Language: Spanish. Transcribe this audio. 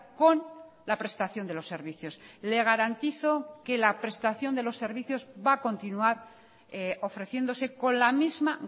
con la prestación de los servicios le garantizo que la prestación de los servicios va a continuar ofreciéndose con la misma